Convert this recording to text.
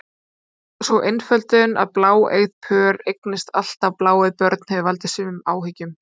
Sú einföldun að bláeygð pör eignist alltaf bláeygð börn hefur valdið sumum áhyggjum.